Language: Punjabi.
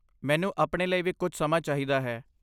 ਮੈਨੂੰ ਆਪਣੇ ਲਈ ਵੀ ਕੁਝ ਸਮਾਂ ਚਾਹੀਦਾ ਹੈ।